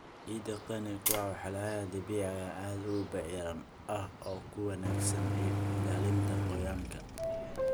Ciidda qani ku ah walxaha dabiiciga ah ayaa aad u bacrin ah oo ku wanaagsan ilaalinta qoyaanka.